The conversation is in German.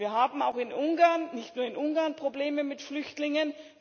Wir haben auch in Ungarn nicht nur in Ungarn Probleme mit Flüchtlingen.